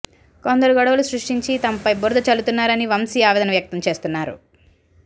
కొందరు గొడవలు సృష్టించి తనపై బురద చల్లుతున్నారని వంశీ ఆవేదన వ్యక్తం చేస్తున్నారు